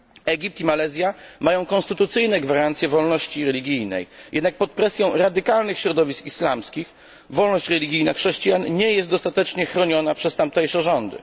Egipt i Malezja mają konstytucyjne gwarancje wolności religijnej, jednak pod presją radykalnych środowisk islamskich wolność religijna chrześcijan nie jest dostatecznie chroniona przez tamtejsze rządy.